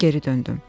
Mən geri döndüm.